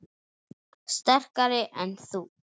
Sterkari en þú?